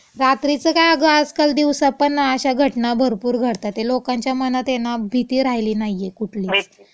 रात्रीचं काय अगं आजकाल दिवसापण अशा घटना भरपूर घडतातेत. लोकांच्या मनात ये भीती राहिली नाहीये कुठलीच.